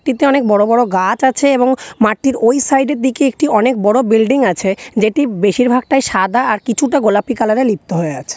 এতে অনেক বড় বড় গাছ আছে এবং মাঠটির ওই সাইড -এ দিকে একটি অনেক বড় বিল্ডিং আছে যেটি বেশিরভাগটাই সাদা আর কিছুটা গোলাপি কালার -এ লিপ্ত হয়ে আছে।